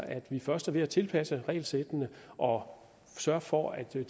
at vi først er ved at tilpasse regelsættene og sørge for at der